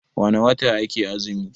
wane wata ake azumi?